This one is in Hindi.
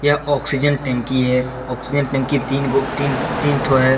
यह ऑक्सीजन टंकी है आक्सीजन टंकी तीन गो तीन तीन ठो है।